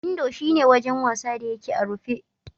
Indo shi ne wajen wasa da yake a rufe.